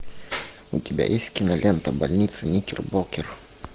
у тебя есть кинолента больница никербокер